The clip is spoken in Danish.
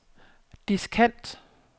diskant